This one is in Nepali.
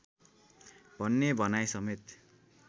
भन्ने भनाइ समेत